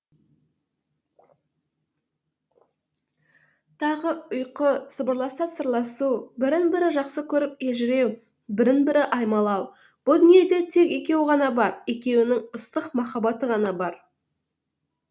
тағы ұйқы сыбырласа сырласу бірін бірі жақсы көріп елжіреу бірін бірі аймалау бұ дүниеде тек екеуі ғана бар екеуінің ыстық махаббаты ғана бар